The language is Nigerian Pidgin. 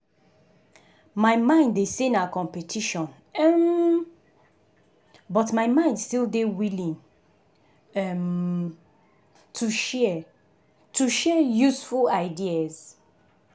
my mind dey say na competition um but my mind still dey willing um to share to share useful ideas.